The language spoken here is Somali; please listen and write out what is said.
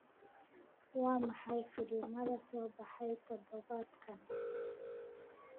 waa maxay filimada soo baxay todobaadkan